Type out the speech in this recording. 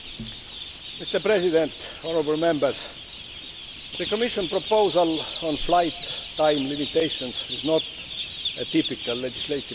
Mr President, the Commission proposal on flight time limitations is not a typical legislative proposal.